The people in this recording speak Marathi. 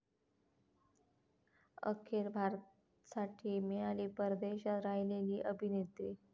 अखेर 'भारत'साठी मिळाली परदेशात राहिलेली अभिनेत्री!